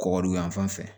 Kɔgɔ dun yanfan fɛ